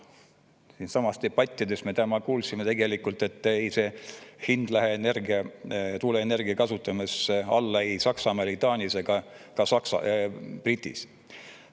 Siinsamas debatis me täna kuulsime tegelikult, et hind ei lähe tuuleenergia kasutamisel alla ei Saksamaal, Taanis ega ka brittidel.